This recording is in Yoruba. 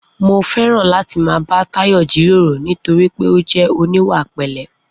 Mo fé̩ràn láti máa bá Táyò̩ jíròrò nítorí pé ó jé̩ oníwà pè̩lé̩